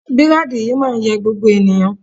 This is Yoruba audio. Bírádì yìí máa ń yẹ gbogbo ènìyàn